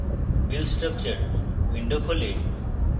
build structure window খোলে